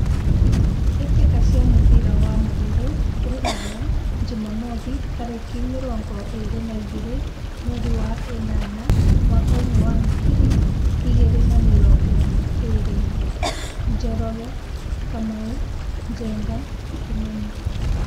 Mbĩtĩka cia mũbira wa magũrũ Ruraya Jumamwothi tarĩki mĩrongo ĩrĩ na igĩrĩ mweri wenana mwakainĩ wa ngiri igĩrĩ na mĩrongo ĩrĩ :Njoroge, Kamau, Njenga, Kimani.